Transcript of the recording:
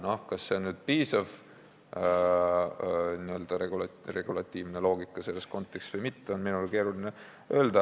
Kas see on selles kontekstis piisav n-ö regulatiivne loogika või mitte, on minul keeruline öelda.